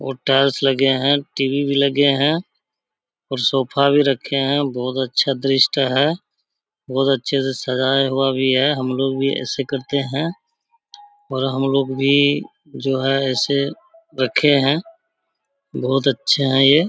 और टाइल्स लगे हैं टी.वी. भी लगे हैं और सोफा भी रखे हैं। बहुत अच्छा दृश्य है बहुत अच्छे से सजाया हुआ भी है। हम लोग भी ऐसे करते हैं और हम लोग भी जो हैं ऐसे रखे हैं। बहुत अच्छे हैं ये।